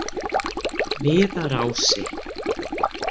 Viðarási